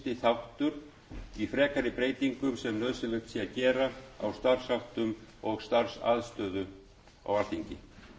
þáttur í frekari breytingum sem nauðsynlegt er að gera á starfsháttum og starfsaðstöðu á alþingi